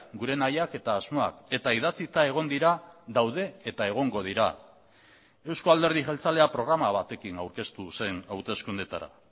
gure nahiak eta asmoak eta idatzita egon dira daude eta egongo dira euzko alderdi jeltzalea programa batekin aurkeztu zen hauteskundetara